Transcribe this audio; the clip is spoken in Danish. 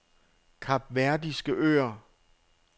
Kapverdiske Øer